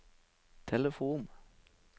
telefon